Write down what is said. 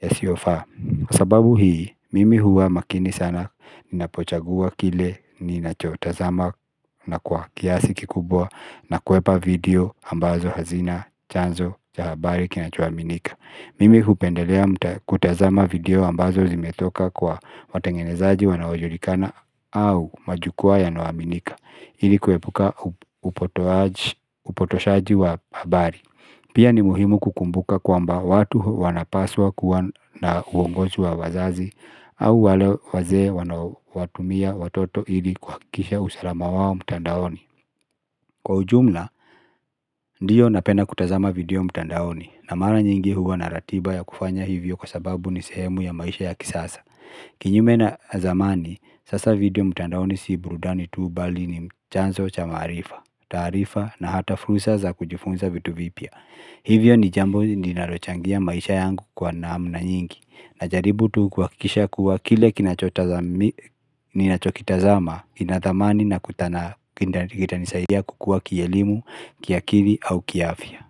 yasiyofaa. Kwa sababu hii, mimi huwa makini sana ninapochagua kile ninachotazama na kwa kiasi kikubwa na kuhepa video ambazo hazina chanzo cha habari kinachoaminika mimi hupendelea kutazama video ambazo zimetoka kwa watengenezaji wanaojulikana au majukwaa yanayoaminika ili kuepuka upotoaji upotoshaji wa habari. Pia ni muhimu kukumbuka kwamba watu wanapasa kuwa na uongozi wa wazazi au wale wazee wanaowatumia watoto ili kuhakikisha usalama wao mtandaoni. Kwa ujumla, ndiyo, napenda kutazama video mtandaoni, na mara nyingi huwa na ratiba ya kufanya hivyo kwa sababu ni sehemu ya maisha ya kisasa Kinyume na zamani, sasa video mtandaoni si burudani tu bali ni chanzo cha maarifa, taarifa na hata fursa za kujifunza vitu vipya Hivyo ni jambo linalochangia maisha yangu kwa namna nyingi Najaribu tu kuhakikisha kuwa kile ninachokitazama ina thamani na kitanisaidia kukua kielimu, kiakili au kiafya.